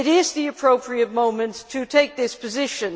It is the appropriate moment to take this position.